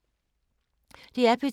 DR P2